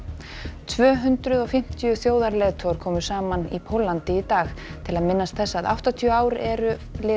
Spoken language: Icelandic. tvö hundruð og fimmtíu þjóðarleiðtogar komu saman í Póllandi í dag til að minnast þess að áttatíu ár eru